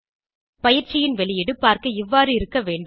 பயிற்சியின் வெளியீடு பார்க்க இவ்வாறு இருக்க வேண்டும்